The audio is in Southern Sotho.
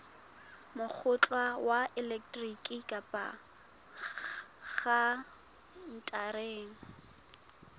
mokgwa wa elektroniki kapa khaontareng